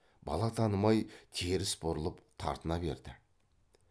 бала танымай теріс бұрылып тартына берді